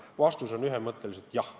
Vastus on ühemõtteline: jah.